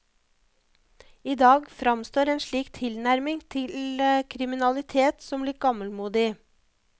I dag framstår en slik tilnærming til kriminalitet som litt gammelmodig.